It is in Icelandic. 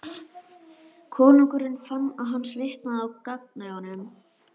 Konungur fann að hann svitnaði á gagnaugunum.